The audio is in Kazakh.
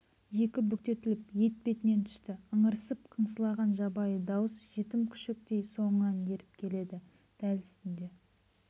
екі бүктетіліп етпетінен түсті ыңырсып қыңсылаған жабайы дауыс жетім күшіктей соңынан еріп келеді дәл үстінде